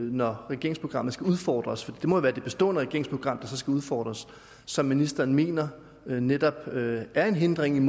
når regeringsprogrammet skal udfordres for det må jo være det bestående regeringsprogram der så skal udfordres som ministeren mener netop er en hindring